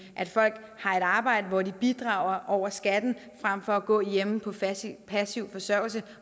at folk har et arbejde hvor de bidrager over skatten frem for at gå hjemme på passiv forsørgelse